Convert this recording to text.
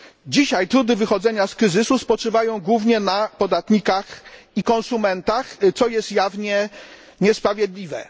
Dzisiaj trudy wychodzenia z kryzysu spoczywają głównie na podatnikach i konsumentach, co jest jawnie niesprawiedliwe.